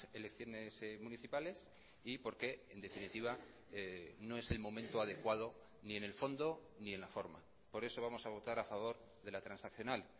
elecciones municipales y porque en definitiva no es el momento adecuado ni en el fondo ni en la forma por eso vamos a votar a favor de la transaccional